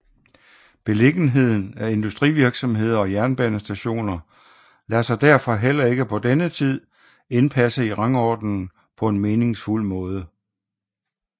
Beliggenheden af industrivirksomheder og jernbanestationer lader sig derfor heller ikke på denne tid indpasse i rangordningen på en meningsfuld måde